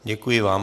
Děkuji vám.